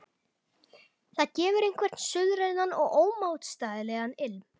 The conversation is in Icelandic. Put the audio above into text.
Það gefur einhvern suðrænan og ómótstæðilegan ilm.